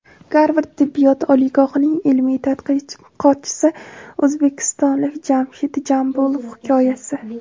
Garvard tibbiyot oliygohining ilmiy tadqiqotchisi o‘zbekistonlik Jamshid Jambulov hikoyasi.